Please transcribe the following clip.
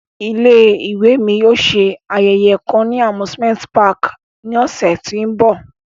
Ile-iwe mi yóò ṣe ayẹyẹ kan ni amusimenti pààki ni ọsẹ ti n bọ.